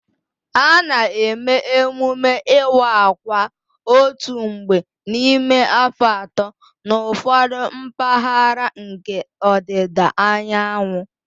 A na-eme emume iwa akwa otu mgbe n'ime afọ atọ n'ụfọdụ mpaghara nke ọdịda anyanwụ